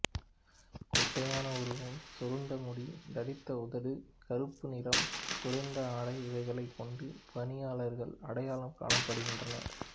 குட்டையான உருவம் சுருண்ட முடி தடித்த உதடு கருப்பு நிறம் குறைந்த ஆடை இவைகளைக் கொண்டு பளியர்கள் அடையாளம் காணப்படுகின்றனர்